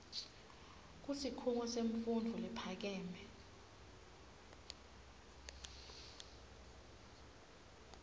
kusikhungo semfundvo lephakeme